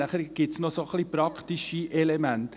Es gibt noch ein paar praktische Elemente.